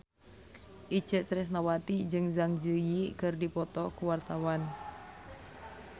Itje Tresnawati jeung Zang Zi Yi keur dipoto ku wartawan